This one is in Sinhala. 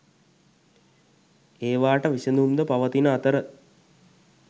ඒවාට විසඳුම් ද පවතින අතර